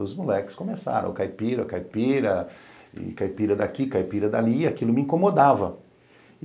Os moleques começaram, Caipira, Caipira, Caipira daqui, Caipira dali, e aquilo me incomodava.